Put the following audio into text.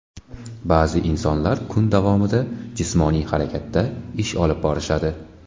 Ba’zi insonlar kun davomida jismoniy harakatda ish olib borishadi.